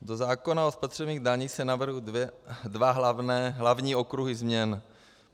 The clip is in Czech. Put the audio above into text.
Do zákona o spotřebních daních se navrhují dva hlavní okruhy změn.